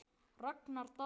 Ragnar Daði.